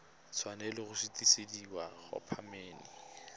tshwanela go sutisediwa go khamphane